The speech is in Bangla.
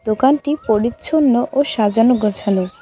দোকানটি পরিচ্ছন্ন ও সাজানো গোছানো।